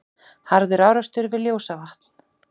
Harður árekstur við Ljósavatn